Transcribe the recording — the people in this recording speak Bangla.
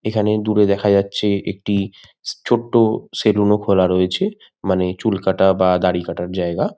এখানে দূরে দেখা যাচ্ছে একটি ছোট্ট সেলুন ও খোলা রয়েছে। মানে চুল কাটা বা দাড়ি কাটার জায়গা।